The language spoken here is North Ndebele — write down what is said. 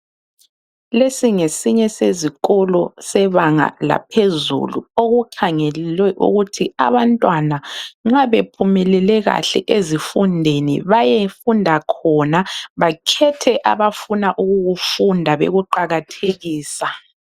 Lesi ngesinye sezikolo sebanga laphezulu, okukhangelwe ukuthi abantwana nxa bephumelele kahle ezifundweni baye funda khona, bakhethe abafuna ukukufunda, bekuqakathekisa.